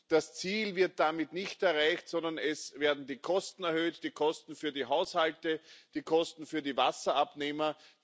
Das Ziel wird damit nicht erreicht, sondern es werden die Kosten erhöht die Kosten für die Haushalte, die Kosten für die Wasserabnehmer.